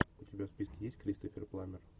у тебя в списке есть кристофер пламмер